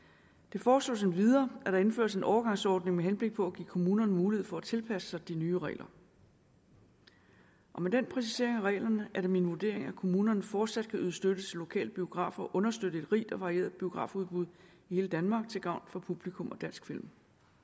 foreslås endvidere at der indføres en overgangsordning med henblik på at give kommunerne mulighed for at tilpasse sig de nye regler og med den præcisering af reglerne er det min vurdering at kommunerne fortsat kan yde støtte til lokale biografer og understøtte et rigt og varieret biografudbud i hele danmark til gavn for publikum og dansk film